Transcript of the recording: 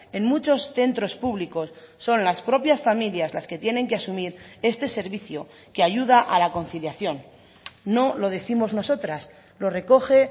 en muchos centros públicos son las propias familias las que tienen que asumir este servicio que ayuda a la conciliación no lo décimos nosotras lo recoge